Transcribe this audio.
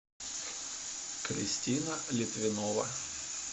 кристина литвинова